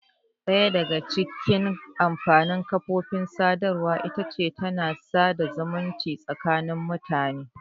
Ɗaya daga cikin amfanin kafofin sadarwa ita ce tana sada zumunci tsakanin mutane.